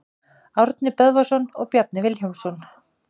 Árni Böðvarsson og Bjarni Vilhjálmsson.